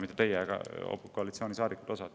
Mitte teie, aga osa koalitsioonisaadikuid.